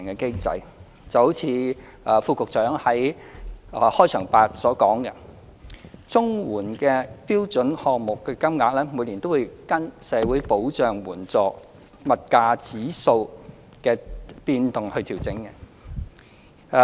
正如勞工及福利局副局長在開場發言所說，綜援的標準項目金額每年均會按社會保障援助物價指數的變動調整。